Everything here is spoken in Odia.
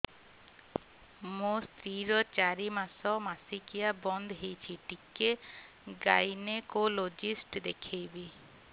ମୋ ସ୍ତ୍ରୀ ର ଚାରି ମାସ ମାସିକିଆ ବନ୍ଦ ହେଇଛି ଟିକେ ଗାଇନେକୋଲୋଜିଷ୍ଟ ଦେଖେଇବି